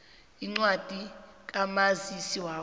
incwadi kamazisi wakho